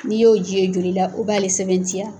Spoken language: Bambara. N'i y'o ji ye joli la u b'ale sɛbɛntiya.